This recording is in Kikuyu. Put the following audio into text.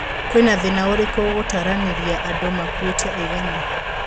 Kwĩna thĩna ũriku gũtaranĩria andũ makũite aigana.